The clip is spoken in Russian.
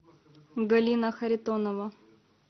галина харитонова